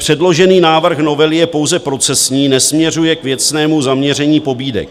Předložený návrh novely je pouze procesní, nesměřuje k věcnému zaměření pobídek.